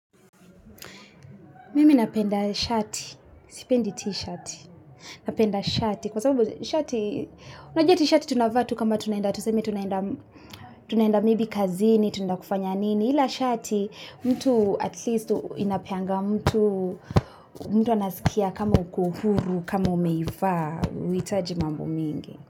Mimi na penda shati, si pendi tishati, na penda shati, kwa sababu shati, unajua tishati tunavaa tu kama tunenda tuseme tunaenda tunenda kazini, tunenda kufanya nini, ila shati mtu inapeanga mtu, mtu anasikia kama uko huru, kama umeivaa, uitaji mambo mingi.